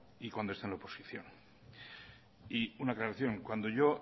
y cuando está en la oposición y una aclaración cuando yo